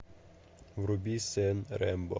вруби сын рэмбо